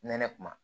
Nɛnɛ kuma